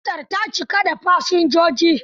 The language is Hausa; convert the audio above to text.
Motar ta cika da fasinjoji?